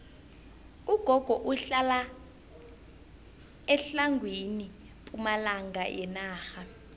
ugogo uhlala etlhagwini pumalanga yenarha